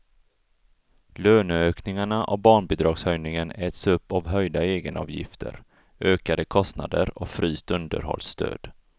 Löneökningarna och barnbidragshöjningen äts upp av höjda egenavgifter, ökade kostnader och fryst underhållsstöd.